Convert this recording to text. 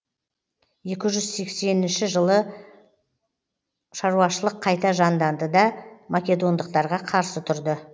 екі жүз сексенінші жылы шаруашылық қайта жанданды да македондықтарға қарсы тұрды